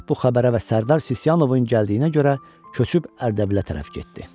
Şah bu xəbərə və Sərdar Sisyanovun gəldiyinə görə köçüb Ərdəbilə tərəf getdi.